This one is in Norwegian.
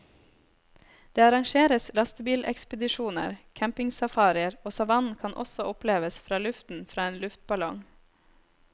Det arrangeres lastebilekspedisjoner, campingsafarier og savannen kan også oppleves fra luften fra en luftballong.